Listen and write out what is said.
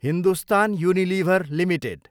Hindustan Unilever Ltd